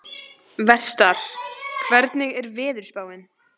Vestar, hvernig er veðurspáin?